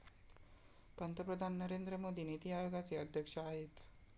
पंतप्रधान नरेंद्र मोदी नीती आयोगाचे अध्यक्ष आहेत.